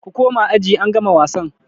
Ku koma aji angama wasan!